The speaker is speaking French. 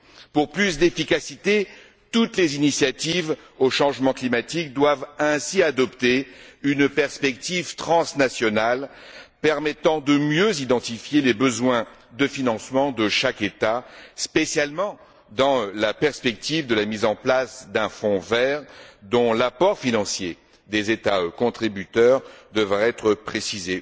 Pour plus d'efficacité, toutes les initiatives concernant changement climatique doivent ainsi adopter une perspective transnationale permettant de mieux identifier les besoins de financement de chaque État, spécialement dans la perspective de la mise en place d'un fonds vert, dont l'apport financier des États contributeurs devra être précisé.